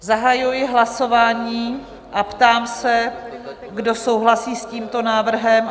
Zahajuji hlasování a ptám se, kdo souhlasí s tímto návrhem?